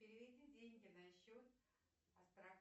переведи деньги на счет